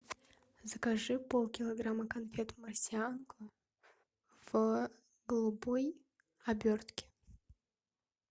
закажи полкилограмма конфет марсианка в голубой обертке